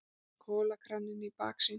Kolakraninn í baksýn.